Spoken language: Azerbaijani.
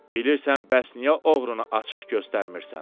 Bilirsən bəs niyə oğrunu açıq göstərmirsən?